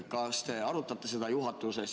Kas te arutaksite seda juhatuses?